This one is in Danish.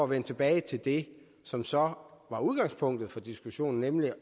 vende tilbage til det som som var udgangspunktet for diskussionen nemlig